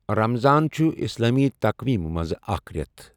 رَمَضان چھُہ اِسلامی تَقويٖم مُنٛز اَکھ رؠتھ